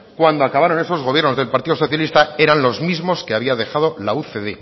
cuando acabaron esos gobiernos del partido socialista eran los mismos que había dejado la ucd